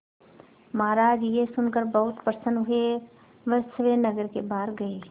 महाराज यह सुनकर बहुत प्रसन्न हुए वह स्वयं नगर के बाहर गए